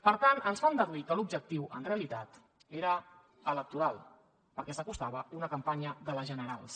per tant ens fan deduir que l’objectiu en realitat era electoral perquè s’acostava una campanya de les generals